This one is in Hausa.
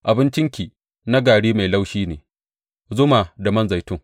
Abincinki na gari mai laushi ne, zuma da man zaitun.